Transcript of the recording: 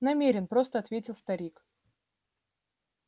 намерен просто ответил старик